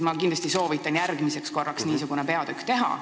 Ma kindlasti soovitan järgmisel korral niisuguse peatüki teha.